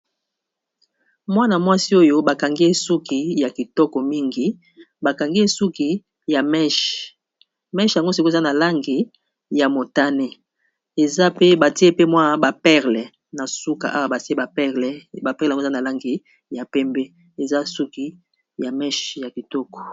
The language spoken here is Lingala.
Mwana mwasi oyo bakangi ye suki ya kitoko mingi, bakangi ye suki ya meshe. Meshe yango siko eza na langi ya motané eza pe batié pe mwa ba perles na suka awa batié ba perles yango eza na langi ya pembé , eza suki ya meshe ya kitoko.